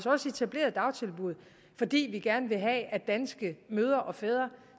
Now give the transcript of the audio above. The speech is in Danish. også etableret dagtilbud fordi vi gerne vil have at danske mødre og fædre